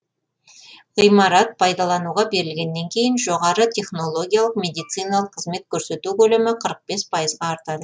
ғимарат пайдалануға берілгеннен кейін жоғары технологиялық медициналық қызмет көрсету көлемі қырық бес пайызға артады